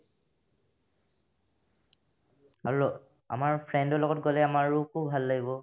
আৰু আমাৰ friend ৰ লগত গ'লে আমাৰো খুব ভাল লাগিব